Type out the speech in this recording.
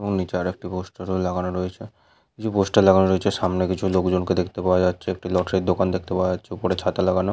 এবং নিচে আর একটি পোস্টার ও লাগানো রয়েছে কিছু পোস্টার লাগানো রয়েছে সামনে কিছু লোকজন কে দেখতে পাওয়া যাচ্ছেএকটি লটারির দোকান দেখতে পাওয়া যাচ্ছে ওপরে ছাতা লাগানো-- এ